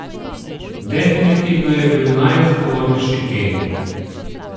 Definitivno je bil najzgovornejši Emi.